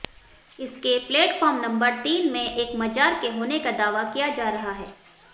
इसके platform number तीन में एक मजार के होने का दावा किया जा रहा है